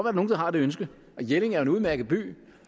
er nogle der har det ønske og jelling er jo en udmærket by